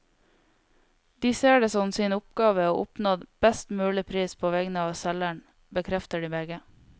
De ser det som sin oppgave å oppnå best mulig pris på vegne av selgeren, bekrefter de begge.